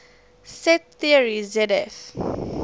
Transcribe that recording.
set theory zf